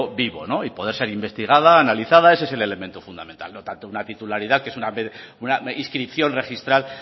vivo y poder seguir investigada analizada ese es el elemento fundamental no tanto una titularidad que es una inscripción registral